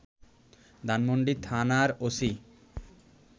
ধানমণ্ডি থানার ওসি